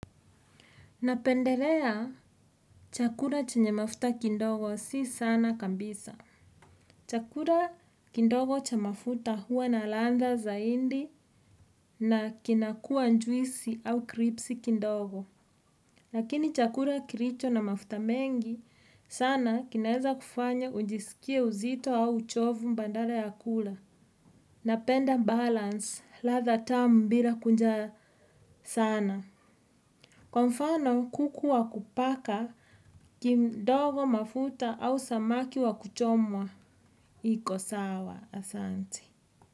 Napendelea chakula chenye mafuta kidogo sio sana kabisa. Chakula kidogo cha mafuta huwa na ladha zaidi na kinakuwa juisi au kripsi kidogo. Lakini chakula kilicho na mafuta mengi sana kinaeza kufanya ujisikie uzito au chovu baada ya kula. Napenda balance ladha tamu bila kunja sana. Kwa mfano kuku wa kupaka kimdogo mafuta au samaki wa kuchomwa iko sawa asante.